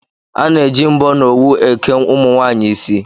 A na-eji mbọ na owu eke ụmụnwaanyị isi